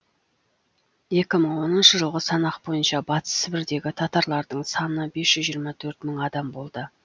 екі мың төртінші жылғы санақ бойынша батыс сібірдегі татарлардың саны бес жүз жиырма төрт мың адам болды